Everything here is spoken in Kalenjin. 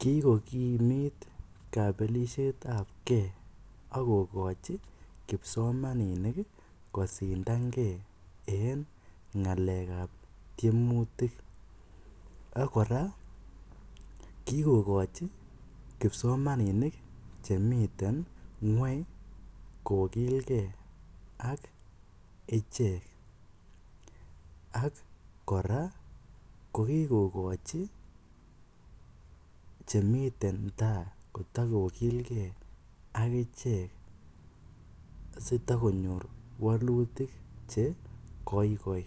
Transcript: Kikokimit kabelishetab Kee akokochi kipsomaninik kosindan Kee en ngalekap tiemutik akora kikochi kipsomaninik chemiten ngweny kokilkee ak ichek ak kora kokikochi chemiten taai kotokokilkee akichek asitokonyor wolutik chekoikoi